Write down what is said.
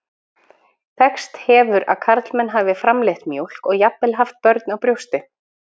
Þekkst hefur að karlmenn hafi framleitt mjólk og jafnvel haft börn á brjósti.